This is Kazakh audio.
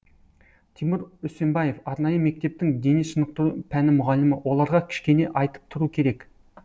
тимур үсенбаев арнайы мектептің дене шынықтыру пәні мұғалімі оларға кішкене айтып тұру керек